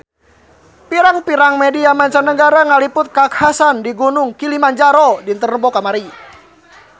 Pirang-pirang media mancanagara ngaliput kakhasan di Gunung Kilimanjaro dinten Rebo kamari